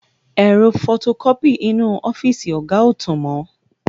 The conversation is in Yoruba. Ẹ̀rọ fọtokọ́pì inú ọ́fíìsì ọ̀gá ò tàn mọ.